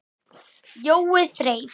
Jói þreif